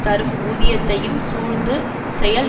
தரும் ஊதியத்தையும் சூழ்ந்து செயல்